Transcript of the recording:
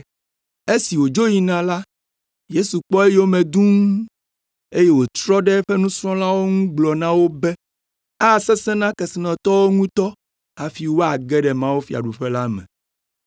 Esi wòdzo yina la, Yesu kpɔ eyome dũu eye wòtrɔ ɖe eƒe nusrɔ̃lawo ŋu gblɔ na wo be, “Asesẽ na kesinɔtɔwo ŋutɔ hafi woage ɖe mawufiaɖuƒe la me!”